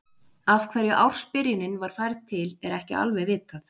Af hverju ársbyrjunin var færð til er ekki alveg vitað.